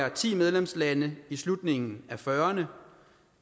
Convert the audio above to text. af ti medlemslande i slutningen af nitten fyrrerne